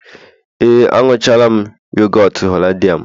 Ee, añụchala'm yogọt hollandia m